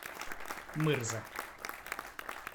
мырза